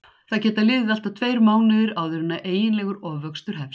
Það geta liðið allt að tveir mánuðir áður en eiginlegur ofvöxtur hefst.